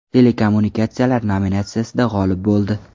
Telekommunikatsiyalar” nominatsiyasida g‘olib bo‘ldi.